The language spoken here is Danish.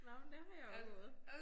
Nåh men der har jeg også gået